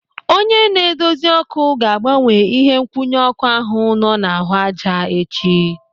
Onye na-edozi ọ́kụ́ ga-agbanwe ihe nkwụnye ọ́kụ́ ahụ nọ n'ahụ ájá echi.